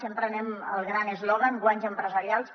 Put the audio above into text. sempre anem al gran eslògan guanys empresarials